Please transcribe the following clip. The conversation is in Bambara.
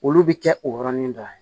Olu bɛ kɛ o yɔrɔnin dɔ ye